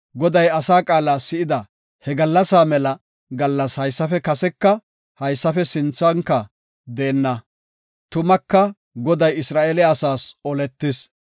Goday asa qaala si7ida he gallasa mela gallas haysafe kaseka haysafe sinthanka deenna. Tumaka Goday Isra7eele asaas oletis.